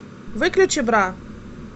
выключи бра